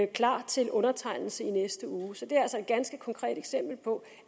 klar til undertegnelse i næste uge så det er altså et ganske konkret eksempel på